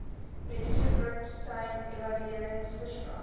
mediese praktisyn evalueringsverslag